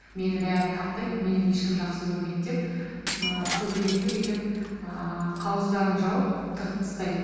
мені бәрі таптайды мені ешкім жақсы көрмейді деп ыыы көбелекті битіп ыыы қауыздарын жауып тығып тастайды